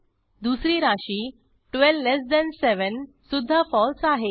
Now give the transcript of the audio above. दुसरी राशी 127 सुध्दा फळसे आहे